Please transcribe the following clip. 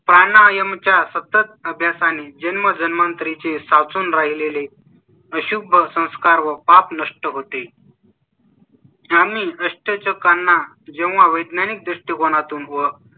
प्राणायाम च्या सत्तर अभ्यास आणि जन्मजन्मांतरी चे साचून राहिलेले. शुभ संस्कार व पाप नष्ट होते . हा मी रस्ते चौकांना जेव्हा वैज्ञानिक दृष्टिकोना तून व.